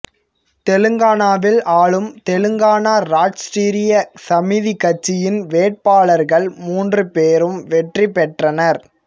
தெலங்கானாவில் ஆளும் தெலங்கானா ராஷ்டிரிய சமிதி கட்சியின் வேட்பாளர்கள் மூன்று பேரும் வெற்றி பெற்றனர்